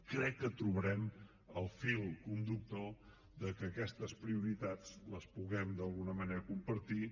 crec que trobarem el fil conductor perquè aquestes prioritats les puguem d’alguna manera compartir